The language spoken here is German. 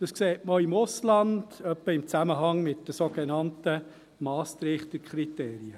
Dies sieht man auch im Ausland, etwa in Zusammenhang mit den sogenannten Maastricht-Kriterien.